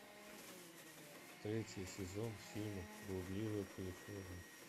третий сезон фильма блудливая калифорния